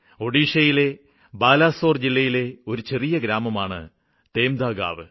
ഒഡീഷയിലെ ബാലാസോര് ജില്ലയിലെ ഒരു ചെറിയ ഗ്രാമമാണ് തേംദാഗാവ്